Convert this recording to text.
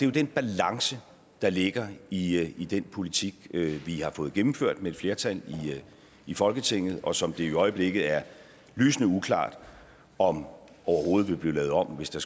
jo den balance der ligger i i den politik vi har fået gennemført med et flertal i folketinget og som det i øjeblikket er lysende uklart om overhovedet vil blive lavet om hvis der